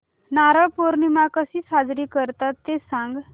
नारळी पौर्णिमा कशी साजरी करतात ते सांग